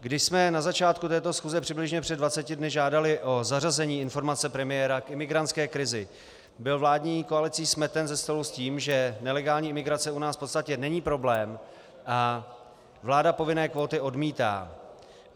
Když jsme na začátku této schůze přibližně před 20 dny žádali o zařazení informace premiéra k imigrantské krizi, byl vládní koalicí smeten ze stolu s tím, že nelegální imigrace u nás v podstatě není problém a vláda povinné kvóty odmítá.